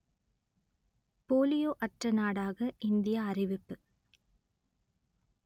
polio அற்ற நாடாக India அறிவிப்பு